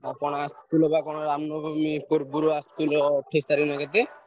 କଣ ଆସିଥିଲେ ବା କଣ ରାମନବମୀ ପୂର୍ବରୁ ଆସିଥିଲେ ଅଠେଇଶି ତାରିଖ୍ ନା କେତେ?